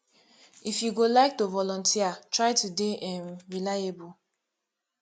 if you go like to volunteer try to dey um reliable